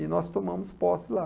E nós tomamos posse lá.